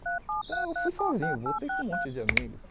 Então eu fui sozinho, voltei com um monte de amigos.